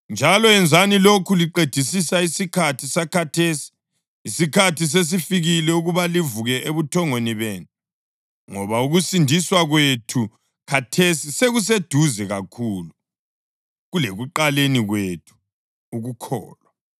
Njalo yenzani lokhu liqedisisa isikhathi sakhathesi. Isikhathi sesifikile ukuba livuke ebuthongweni benu, ngoba ukusindiswa kwethu khathesi sekuseduze kakhulu kulekuqaleni kwethu ukukholwa.